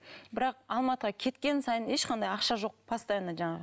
бірақ алматыға кеткен сайын ешқандай ақша жоқ постоянно жаңағы